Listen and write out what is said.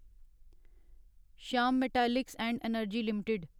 Shyam metallics and energy limited